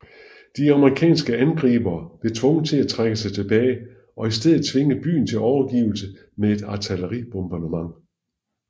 De amerikanske angribere blev tvunget til at trække sig tilbage og i stedet tvinge byen til overgivelse med et artilleribombardement